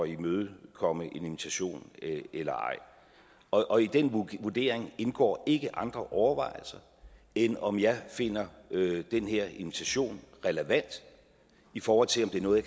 imødekomme en invitation eller ej og i den vurdering indgår ikke andre overvejelser end om jeg finder den her invitation relevant i forhold til om det er noget